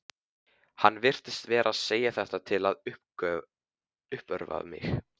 Hann virtist vera að segja þetta til að uppörva mig.